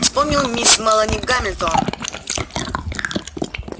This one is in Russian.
вспомнил мисс мелани гамильтон